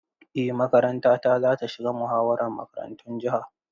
Eh makarantata za ta shiga muhawarar makarantun jiha.